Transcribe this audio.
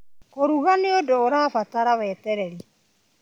Kũruga nĩ ũndũ ũrabatara wetereri.